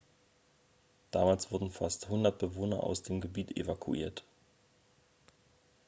damals wurden fast 100 bewohner aus dem gebiet evakuiert